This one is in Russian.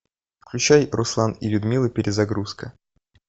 включай руслан и людмила перезагрузка